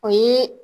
O ye